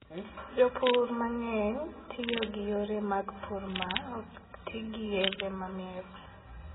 Jopur mang'eny tiyo gi yore mag pur ma ok ti gi yedhe mamero.